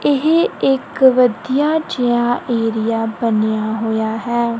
ਏਹ ਇੱਕ ਵਧੀਆ ਜੇਹਾ ਏਰੀਆ ਬਣਿਆ ਹੋਇਆ ਹੈ।